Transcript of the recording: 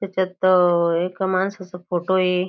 त्याच्यात अ एक माणसाचा फोटो ये.